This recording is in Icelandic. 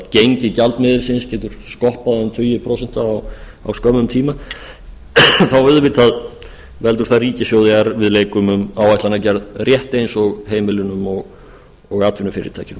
gengi gjaldmiðilsins getur skoppað um tugi prósenta á hverjum tíma þá auðvitað veldur það ríkissjóð erfiðleikum um áætlanagerð rétt eins og heimilunum og atvinnufyrirtækjum